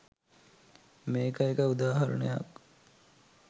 මේක එක උදාහරණයක්.